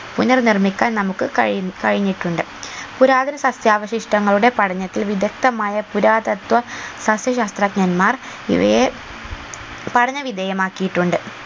പുനർ നിർമ്മിക്കാൻ നമുക്ക് കയ് കഴിഞ്ഞിട്ടുണ്ട് പുരാതന സസ്യാവശിഷ്ടങ്ങളുടെ പഠനത്തിൽ വിദ്ധക്തമായ പുരാതത്വ പക്ഷി ശാസ്ത്രജ്ഞന്മാർ ഇവയെ പഠന വിധേയ മാക്കിയിട്ടുണ്ട്